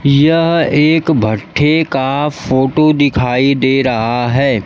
यह एक भट्ठी का फोटो दिखाई दे रहा है।